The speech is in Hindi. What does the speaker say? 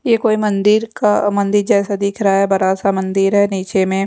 ये कोई मंदिर का मंदिर जैसा दिख रहा है बड़ा सा मंदिर है नीचे में--